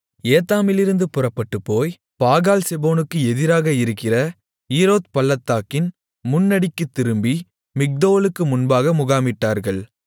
ஏத்தாமிலிருந்து புறப்பட்டுப்போய் பாகால்செபோனுக்கு எதிராக இருக்கிற ஈரோத் பள்ளத்தாக்கின் முன்னடிக்குத் திரும்பி மிக்தோலுக்கு முன்பாக முகாமிட்டார்கள்